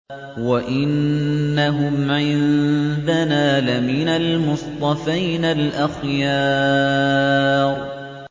وَإِنَّهُمْ عِندَنَا لَمِنَ الْمُصْطَفَيْنَ الْأَخْيَارِ